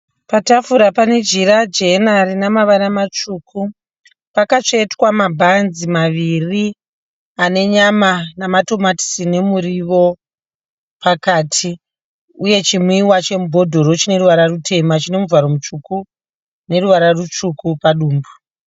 Patafura pane Jira jena Rinavara matsvuku. Pakatsvetwa mabhanzi maviri ane nyama namatomatisi nemuriwo pakati. Uye chinwiwa chemubhodhoro chineruvara rutema chinemuvharo mutsvuku neruvara rutsvuku padumbu.